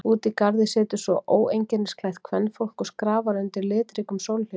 Úti í garði situr svo óeinkennisklætt kvenfólk og skrafar undir litríkum sólhlífum.